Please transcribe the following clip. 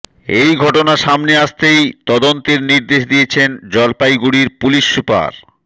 এই ঘটনা সামনে আসতেই তদন্তের নির্দেশ দিয়েছেন জলপাইগুড়ির পুলিস সুপার